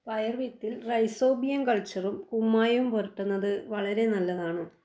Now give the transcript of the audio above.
പയർ വിത്തിൽ റൈസോബിയം കൾച്ചറും കുമ്മായവും പുരട്ടുന്നത് വളരെ നല്ലതാണ്.